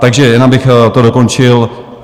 Takže jen abych to dokončil.